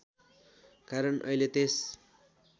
कारण अहिले त्यस